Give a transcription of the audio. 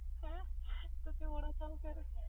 ਹੈ ਤੁਸੀ